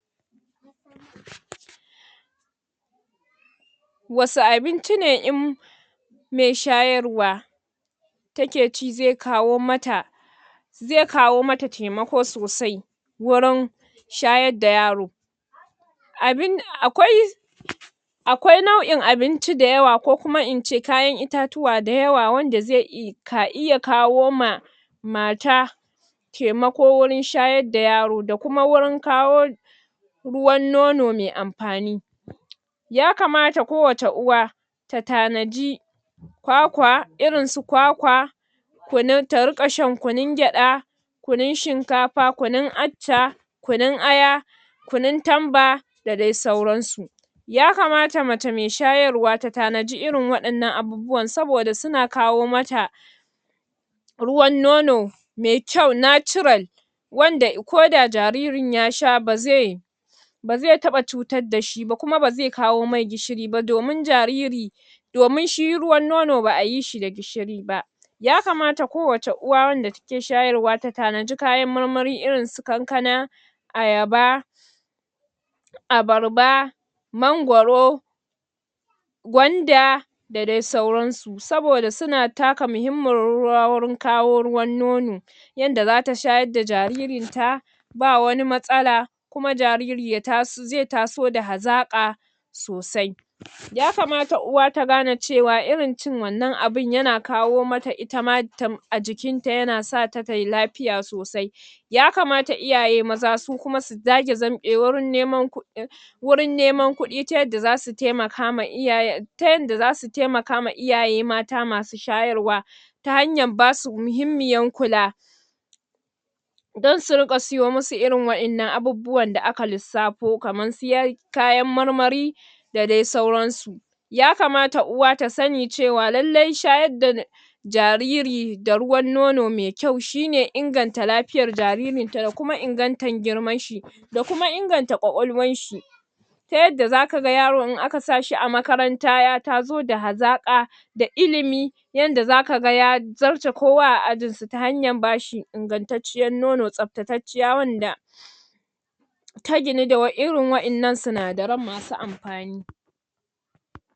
Wasu abinci ne in mai shayarwa take ci zai kawo mata zai kawo mata taimako sosai wurin shayar da yaro? Abin akwai akwai nau'in abinci da yawa, ko kuma in ce kayan itatuwa da yawa wanda zai ka iya kawo m ka iya kawo ma mata taimako wurin shayar da yaro da kuma wurin kawo ruwan nono mai amfani, ya kamata ko wace uwa ta tanaji kwakwa, irin su kwakwa kunun, ta riƙa shan kunun gida kunun shinkafa, kunun accha, kunun aya, kunun tamba da dai sauransu ya kamata mace mai shayarwa ta tana ji irin waɗannan abubuwan, saboda suna kawo mata ruwan nono mai kyau natural wanda ko da jaririn ya sha ba zai ba zai taɓa cutar da shi ba, kuma ba zai kawo masa gishiri ba, domin jariri, domin shi ruwan nono ba a yi shi da gishiri ba, ya kamata kowace uwa wanda take shayarwa ta tanaji kayan marmari irin su kankana, ayaba, abarba mangoro gwanda da dai sauran su, saboda suna taka muhimmiyar rawa wurin kawo ruwan nono yanda za ta shayar da jaririn ta ba wani matsala kuma jariri zai taso da hazaƙa sosai ya kamata uwa ta gane cewa irin cin wannan abun yana kawo mata a jikin ta, yana sa ta tai lafiya sosai, ya kamata iyaye maza su kuma su zage dantse wurin neman kuɗi wurin neman kuɗi ta yadda za su taimakawa iyayen ta yadda za su taimaka wa iyaye mata masu shayarwa ta hanyar ba su muhimmiyar kula don su riƙa siyo musu irin waɗannan abubuwan da aka lissafo, kamar su kayan marmari da dai sauran su ya kamata uwa ta sani cewa, lalle shayar da jariri da ruwan nono mai kyau shi ne inganta lafiyar jaririn ta da kuma ingantan girman shi, da kuma inganta ƙwaƙwalwar shi ta yadda za ka ga yaro in aka sa shi a makaranta ya taso da hazaƙa da ilimi yanda za ka ga ya zarce kowa a ajin su ta hanyar ba shi ingantacciyar nono, tsaftatacciya wanda ta ginu da waɗan, irin waɗannan sinadaran masu amfani